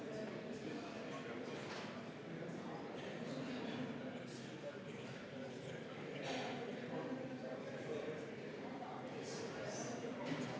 Läheme seaduseelnõu 207 lõpphääletuse juurde.